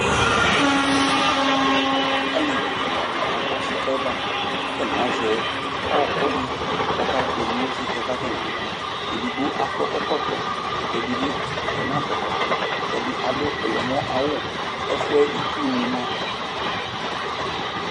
Alevi ɛla dɩnɩ agbɔ sɩka yɛ bʋa kʋ atanɩ azɛ ɔɣɔkʋ dɩ kʋ akakpono sɩka yɛ kʋ atanɩ amʋ yɛ Edigbo akɔ akɔ ɛkɔtɔ Ɛdɩ bɩ nakɔ ɛkɔtɔ Adʋ ɔyɔmɔ awʋ Ɛfʋ yɛ itsunɩ ma a